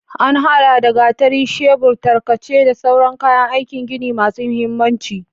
An haɗa da gatari, shebur, tarkace, da sauran kayan aikin gini masu mahimmanci.